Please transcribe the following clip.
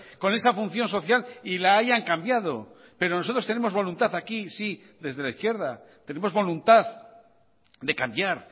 con esa función social y la hayan cambiado pero nosotros tenemos voluntad aquí sí desde la izquierda tenemos voluntad de cambiar